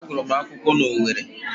Agụrụ m akwụkwọ na Owerri